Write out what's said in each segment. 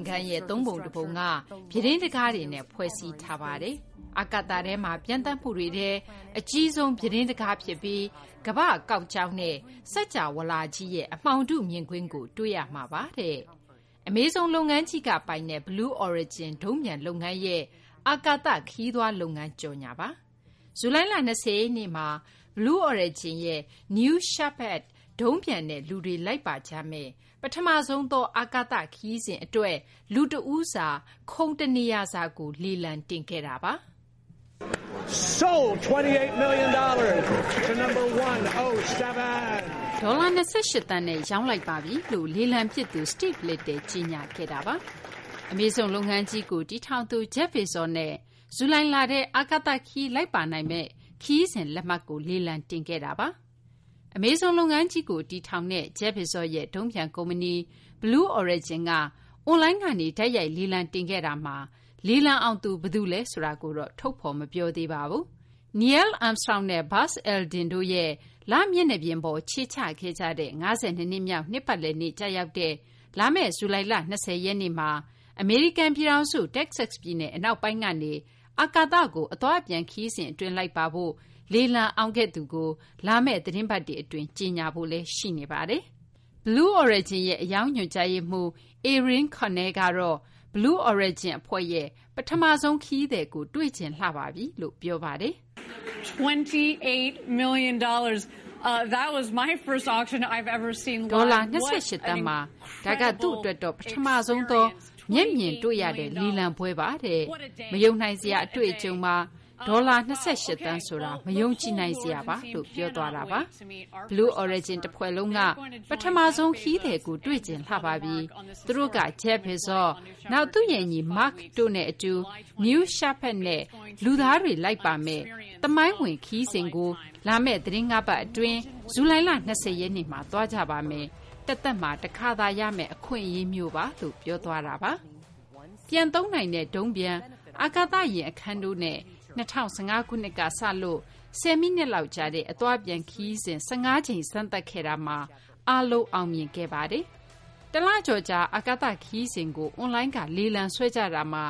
်ခန်းရဲ့ သုံးပုံ တပုံက ပြူတင်းတံခါးတွေနဲ့ ဖွဲ့စည်းထားတာ ဖြစ်ပြီး အာကသထဲမှာ ပျံသန်းမှုတွေထဲ အကြီးဆုံး ပြူတင်း တံခါးဖြစ်ပြီး ကမ္ဘာ့ကောက်ကြောင်းနဲ့ စကြာဝဠာကြီးရဲ့ အမှောင်ထုမြင်ကွင်းကို တွေ့ရမှာပါတဲ့။ Amazon လုပ်ငန်းကြီးကပိုင်တဲ့ Blu Origin ဒုံးပျံ လုပ်ငန်းရဲ့ အာကာသ ခရီးသွား လုပ်ငန်းကြော်ငြာပါ။ ဇူလိုင်လ ၂၀ ရက်နေ့မှာ Blue Origin ရဲ့ New Shepard ဒုံးပျံနဲ့ လူတွေ လိုက်ပါကြမယ့် ပထမဆုံးသော အာကာသ ခရီးစဉ် အတွက် လူတဦးစာ ခုံတနေရာစာကို လေလံတင်ခဲ့ပါတယ်။ ဒေါ်လာ ၂၈ သန်းနဲ့ ရောင်းလိုက်ပါပြီလို့ လေလံပစ်သူ Steve Little က ကြေညာခဲ့တာပါ။ Amazon လုပ်ငန်းကြီးရဲ့ တည်ထောင်သူ Jeff Bezos ရဲ့ ဒုံးပျံ ကုမ္ပဏီ Blue Origin က အွန်လိုင်းကနေ တိုက်ရိုက် လေလံတင်ခဲ့ပြီးနောက် လေလံအောင်သူ ဘယ်သူလဲ ဆိုတာကိုတော့ ထုတ်ဖော် မပြောပါဘူး။ Neil Armstrong နဲ့ Buzz Aldrin တို့ရဲ့ လမျက်နှာပြင်ပေါ် ခြေချခဲ့ကြတဲ့ ၅၂ နှစ်မြောက် နှစ်ပတ်လည်နေ့ ကျရောက်တဲ့ ဇူလိုင်လ ၂၀ ရက်နေ့မှာ အမေရိကန် ပြည်ထောင်စု တက္ကဆက် ပြည်နယ် အနောက်ပိုင်းကနေ အာကသကို အသွားအပြန် ခရီးစဉ် အတွင်း လိုက်ပါဖို့ လေလံအောင်ခဲ့သူကိုတော့ လာမယ့် သီတင်းပတ်တွေ အတွင်း ထုတ်ဖော် ပြောဆိုဖို့ ရှိနေပါတယ်။ Blue Origin ရဲ့ အရောင်း ညွှန်ကြားရေးမှူး Ariane Cornell ကတော့ Blue Origin အဖွဲ့ရဲ့ပထမဆုံး ခရီးသည်ကို တွေ့ချင်လှပါပြီလို့ ပြောပါတယ်။ " ဒေါ်လာ ၂၈ သန်း။ ဒါက ကျမ အတွက်တော့ ပထမဆုံးသော တိုက်ရိုက် မြင်တွေ့ရတဲ့ လေလံပွဲပါ။ မယုံနိုင်စရာ အတွေ့အကြုံပါ။ ဒေါ်လာ ၂၈ သန်းတဲ့ မယုံကြည်နိုင်စရာပါဘဲ။ Blue Origin တဖွဲ့လုံးက ကျမတို့ရဲ့ ပထမဆုံး ခရီးသည်ကို တွေ့ချင်လှပါပြီ။ သူတို့က Jeff Bezos ၊ နောက်သူ့ရဲ့ ညီ Mark တို့နဲ့ အတူ New Shepherd နဲ့ လူသားတွေ လိုက်ပါမယ့် သမိုင်းဝင် ခရီးစဉ်ကို သီတင်း ၅ ပတ် အတွင်း လာမယ့် ဇူလိုင်လ ၂၀ ရက်နေ့မှာ သွားကြပါမယ်။ တသက်မှာ တခါသာ ရမယ့် အခွင့်အရေးမျိုးပါ။" ပြန်သုံးနိုင်တဲ့ ဒုံးပျံ၊ အာကာသယာဉ် အခန်းတို့နဲ့ ၂၀၁၅ ခုနှစ်ကနေ စလို့ ၁၀ မိနစ်လောက် ကြာတဲ့ အသွားအပြန်ခရီးစဉ် ၁၅ ကြိမ် စမ်းသပ်ခဲ့တာမှာ အားလုံး အောင်မြင်ခဲ့ပါတယ်။ တလကျော်ကြာ အာကာသ ခရီးစဉ်ကို အွန်လိုင်းကနေ လေလံဆွဲကြတာမှာ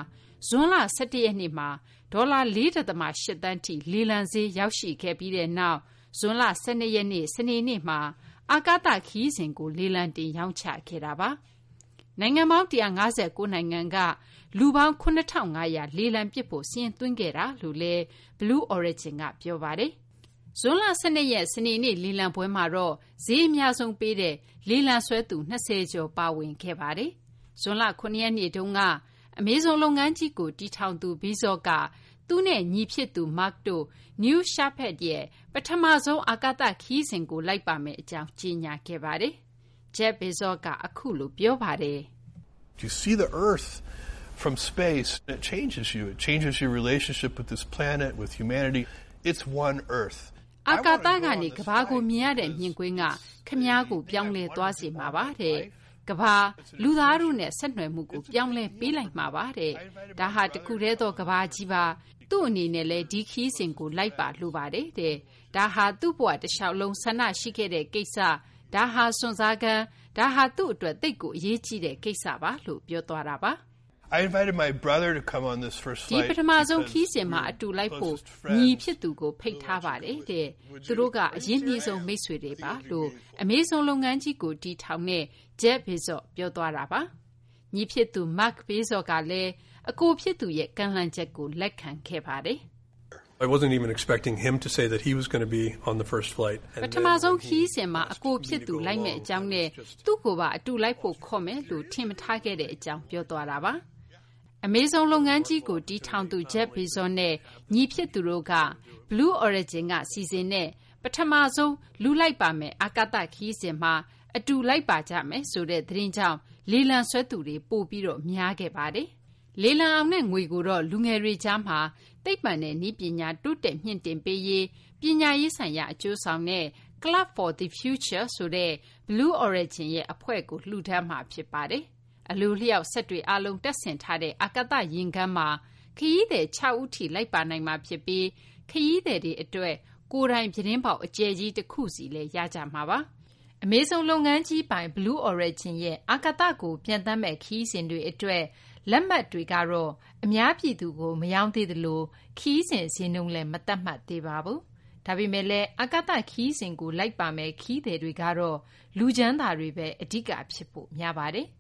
ဇွန်လ ၁၁ ရက်နေ့မှာ ဒေါ်လာ ၄ ဒသမ ၈ သန်းထိ လေလံဈေး ရောက်ခဲ့ပြီးနောက် ဇွန်လ ၁၂ ရက် စနေနေ့က အာကာသ ခရီးစဉ်ကို လေလံတင် ရောင်းချခဲ့တာပါ။ နိုင်ငံပေါင်း ၁၅၉ နိုင်ငံက လူပေါင်း ၇,၅၀၀ လေလံပစ်ဖို့ စာရင်းသွင်းခဲ့ကြောင်းလည်း Blue Origin က ပြောပါတယ်။ ဇွန်လ ၁၂ ရက် စနေနေ့က လေလံပွဲမှာတော့ ဈေးအများဆုံး ပေးတဲ့ လေလံဆွဲသူ ၂၀ ကျော် ပါဝင်ခဲ့ကြပါတယ်။ ဇွန်လ ၇ ရက်နေ့မှာတော့ Amazon လုပ်ငန်းကြီးကို တည်ထောင်သူ Bezos က သူနဲ့ ညီဖြစ်သူ Mark တို့ New Shepard ရဲ့ ပထမဆုံး အာကသ ခရီးစဉ်ကို လိုက်ပါမယ့် အကြောင်း ကြေညာခဲ့ပါတယ်။ Amazon လုပ်ငန်းကြီးရဲ့ တည်ထောင်သူ Jeff Bezos က အခုလို ပြောပါတယ်။ " အာကသကနေ ကမ္ဘာကို မြင်ရတဲ့ မြင်ကွင်းက ခင်ဗျားကို ပြောင်းလဲသွားစေမှာပါ။ ကမ္ဘာ လူသား တို့နဲ့ ခင်ဗျားရဲ့ ဆက်နွယ်မှုကို ပြောင်းလဲပေးလိုက်မှာပါ။ ဒါဟာ တခုတည်းသော ကမ္ဘာကြီးပါ။ ကျနော် ဒီ ခရီးစဉ်ကို လိုက်ပါ လိုပါတယ်။ ဒါက ကျနော့် ဘဝတလျှောက်လုံး ဆန္ဒရှိခဲ့တဲ့ ကိစ္စပါ။ ဒါဟာ စွန့်စားခန်းပါ။ ကျနော့် အတွက်တော့ ဒါက သိပ်ကို အရေးကြီးတဲ့ ကိစ္စပါ။ " " ဒီ ပထမဆုံး ခရီးစဉ်မှာ အတူလိုက်ဖို့ ကျနော့် ညီကို ဖိတ်ထားပါတယ်။ ကျနော်တို့က အရင်းနှီးဆုံး မိတ်ဆွေတွေပါ။" ညီဖြစ်သူ Mark Bezos ကလည်း အကိုဖြစ်သူရဲ့ ကမ်းလှမ်းချက်ကို လက်ခံခဲ့တာပါ။ " ပထမဆုံး ခရီးစဉ်မှာ သူ လိုက်မယ့်အကြောင်းနဲ့ ကျနော့ကို အတူလိုက်ဖို့ ခေါ်ဖို့မယ်လို့ ကျနော် ထင်မထားခဲ့ပါဘူး။ " Amazon လုပ်ငန်းကြီးကို တည်ထောင်သူ Jeff Bezos နဲ့ ညီဖြစ်သူတို့ အာကာသကို သွားမယ့် ပထမဆုံး ခရီးစဉ်မှာ လိုက်ပါမယ်ဆိုတဲ့ သတင်းကြောင့် လေလံဆွဲသူတွေ တိုးလာခဲ့ပါတယ်။ လေလံအောင်တဲ့ ငွေကိုတော့ လူငယ်တွေကြားမှာ သိပ္ပံနဲ့ နည်းပညာ တိုးတက်မြှင့်တင်ပေးရေး ပညာရေး ဆိုင်ရာ အကျိုးဆောင်တဲ့ Club for the Future ဆိုတဲ့ Blue Origin ရဲ့ အဖွဲ့ကို လှူဒါန်းမှာ ဖြစ်ပါတယ်။ အလိုအလျောက် စက်တွေ တပ်ဆင်ထားတဲ့ အာကာသ ယာဉ်ခန်းမှာ ခရီးသည် ၆ ဦးထိ လိုက်ပါနိုင်မှာ ဖြစ်ပြီး ခရီးသည်တွေ အတွက် ကိုယ်ပိုင် ပြူတင်းပေါက် အကျယ်ကြီး တခုစီ နေရာရမှာပါ။ Blue Origin ရဲ့ အာကသကို ပျံသန်းမယ့် ခရီးစဉ် အတွက် လက်မှတ်တွေတော့ အများပြည်သူကို မရောင်းသေးသလို ခရီးစဉ် ဈေးနှုန်းလည်း မသတ်မှတ်သေးပါဘူး။ ဒါပေမယ့်လည်း အာကာသ ခရီးစဉ်တွေကို လိုက်ပါမယ့် ခရီးသည်တွေကတော့ လူချမ်းသာတွေဘဲ အဓိက ဖြစ်ဖို့ များပါတယ်။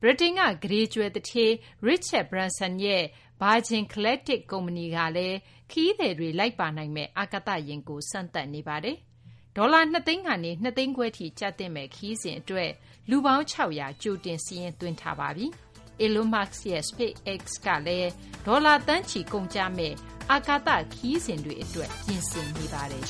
ဗြိတိန်က ကုဋေကြွယ် သူဌေး Richard Branson ရဲ့ Virgin Galactic ကုမ္ပဏီကလည်း ခရီးသည်တွေ လိုက်ပါနိုင်မယ့် အာကာသယာဉ်ကို စမ်းသပ်နေပါတယ်။ ဒေါ်လာ ၂ သိန်းကနေ ၂ သိန်းခွဲထိ ကျသင့်မယ့် ခရီးစဉ် အတွက် လူပေါင်း ၆၀၀ ကြိုတင် စာရင်းသွင်းထားပါပြီ။ Elon Musk ရဲ့ SpaceX ကလည်း ဒေါ်လာသန်းချီ ကုန်ကျမယ့် အာကာသ ခရီးစဉ်တွေ အတွက် ပြင်ဆင်နေပါတယ်